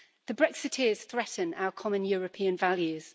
The Brexiteers threaten our common European values.